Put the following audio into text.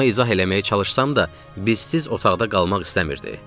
Ona izah eləməyə çalışsam da, bizsiz otaqda qalmaq istəmirdi.